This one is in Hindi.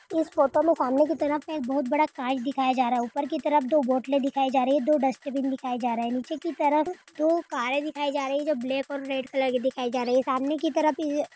इस फोटो में सामने की तरफ एक बहुत बड़ा कांच दिखाया जा रहा है। ऊपर की तरफ दो बोतलें दिखाई जा रही हैं। दो डस्टबिन दिखाए जा रहे हैं। नीचे की तरफ दो कारें दिखाई जा रही है जो ब्लैक और रेड कलर के दिखाई जा रही हैं। सामने की तरफ ये --